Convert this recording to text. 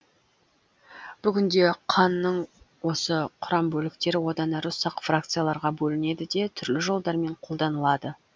бүгінде қанның осы құрамбөліктері одан әрі ұсақ фракцияларға бөлінеді де түрлі жолдармен қолданылады